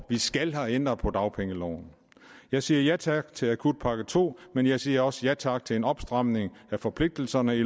vi skal have ændret på dagpengeloven jeg siger ja tak til akutpakke to men jeg siger også ja tak til en opstramning af forpligtelserne i